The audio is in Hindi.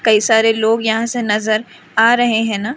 कइ सारे लोग यहाँ से नज़र आ रहे है ना--